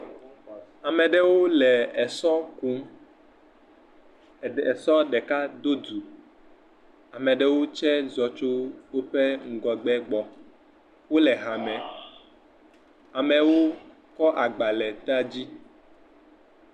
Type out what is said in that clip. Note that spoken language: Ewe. Ame aɖewo le esɔ kum. Èsɔa ɖeka bi dzi. Ame aɖewo tse zɔ tso woƒe ŋgɔgbe gbɔna. Wòle ha me . Ame kɔ agba ɖe èsɔa dzi gbɔna.